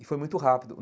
E foi muito rápido.